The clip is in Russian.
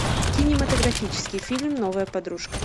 кинематографический фильм новая подружка